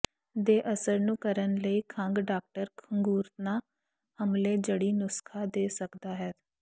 ਦੇ ਅਸਰ ਨੂੰ ਕਰਨ ਲਈ ਖੰਘ ਡਾਕਟਰ ਖੰਘੂਰਨਾ ਹਮਲੇ ਜੜੀ ਨੁਸਖ਼ਾ ਦੇ ਸਕਦਾ ਹੈ